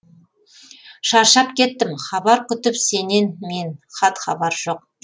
шаршап кеттім хабар күтіп сенен мен хат хабар жоқ